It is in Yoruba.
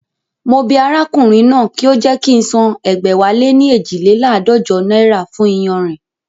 Mo bẹ arákùnrin náà kí ó jẹ́ kí ń san ẹgbẹ̀wáléní eejileládọ́jọ náírà fún iyanrìn